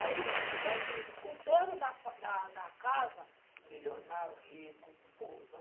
Aí vai vendo o dono da da da casa, milionário, rico, bonzão.